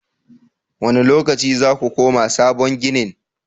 Wane lokaci za ku koma sabon ginin?